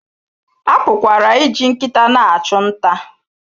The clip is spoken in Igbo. A pụkwara iji nkịta na-achụ nta.